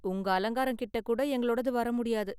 உங்க அலங்காரம் கிட்ட கூட எங்களோடது வர முடியாது.